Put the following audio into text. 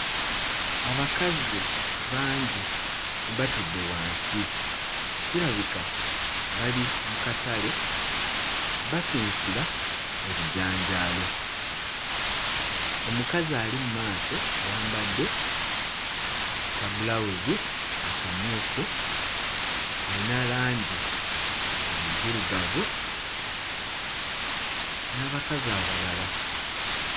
Abakazi bangi batudde wansi kirabika bali mu katale basunsula ebijanjaalo. Omukazi ali mmaaso ayambadde kabbulawuzi akamyufu ayina langi enzirugavu n'abakazi abalala.